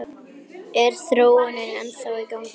Er þróunin ennþá í gangi?